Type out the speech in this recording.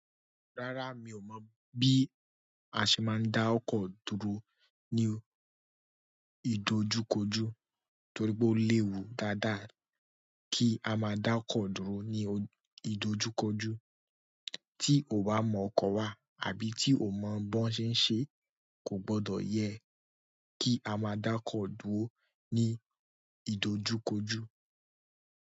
Rárá, mi ò mọ bí a ṣe máa ń dá ọkọ́ dúró ní ìdojúkojú torí pé ó léwu dáadáa kí a máa dá ọkọ́ dúró ní ìdojúkojú. Tí o ò bá mọ ọkọ́ wá àbí tí o ò mọ̀ bó ṣe ń ṣe, kò gbọdọ̀ yẹ kí a máa dá ọkọ́ dúró ní ìdojúkojú.